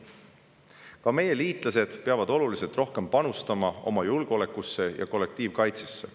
Ka meie liitlased peavad oluliselt rohkem panustama oma julgeolekusse ja kollektiivkaitsesse.